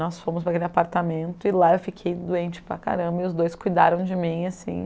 Nós fomos para aquele apartamento e lá eu fiquei doente para caramba e os dois cuidaram de mim, assim...